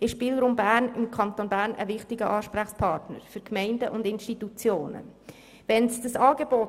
ist Spielraum Bern eine sowohl für Gemeinden als auch Institutionen wichtige Ansprechpartnerin im Kanton Bern.